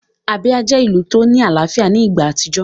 Abia jẹ́ ìlù tó ní àlàáfíà ní ìgbà àtijọ́